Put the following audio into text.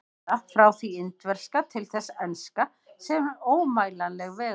Eða: frá því indverska til þess enska, sem er ómælanleg vegalengd.